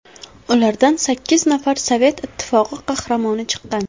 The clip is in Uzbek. Ulardan sakkiz nafar Sovet Ittifoqi qahramoni chiqqan.